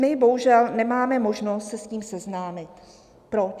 My bohužel nemáme možnost se s ním seznámit. Proč?